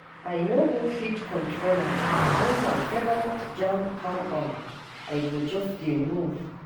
I no go fit control am when my favorite jam come on, I go just dey move.